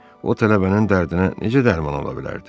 O tələbənin dərdinə necə dərman ola bilərdi?